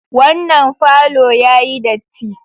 Wannan falo yayi datti.